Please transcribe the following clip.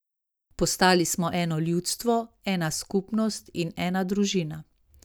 Postali smo eno ljudstvo, ena skupnost in ena družina.